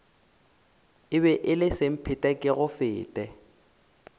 e be e le semphetekegofete